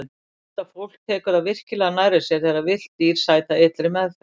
Þetta fólk tekur það virkilega nærri sér þegar villt dýr sæta illri meðferð.